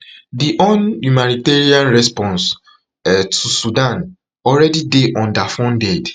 di un humanitarian response um to sudan alreadi dey underfunded